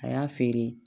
A y'a feere